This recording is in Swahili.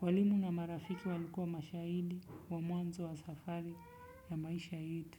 Walimu na marafiki walikuwa mashahidi, wamwanzo wa safari ya maisha yetu.